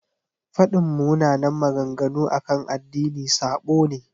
Faɗin munanan maganganu akan addini sabo ne.